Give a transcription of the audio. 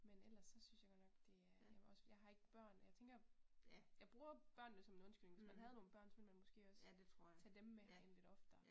Men ellers så synes jeg godt nok det er, ja også fordi jeg har ikke børn, jeg tænker jeg bruger børnene som en undskyldning, hvis man havde nogle børn, så ville man måske også tage dem med herind lidt oftere